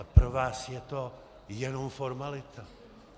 Ale pro vás je to jenom formalita.